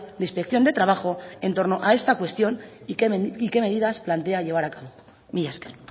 de inspección de trabajo en torno a esta cuestión y qué medidas plantea llevas a cabo mila esker